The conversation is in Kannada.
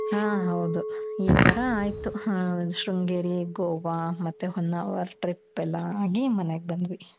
ಹಾ ಹೌದು. ಈ ತರ ಆಯ್ತು. ಶೃಂಗೇರಿ, ಗೋವಾ, ಮತ್ತೆ ಹೊನ್ನಾವರ್ trip ಎಲ್ಲಾ ಆಗಿ ಮನೆಗ್ ಬಂದ್ವಿ.